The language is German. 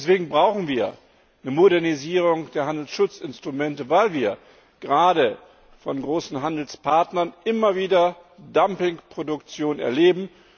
Deswegen brauchen wir die Modernisierung der Handelsschutzinstrumente, weil wir gerade von großen Handelspartnern immer wieder Dumpingproduktion erleben.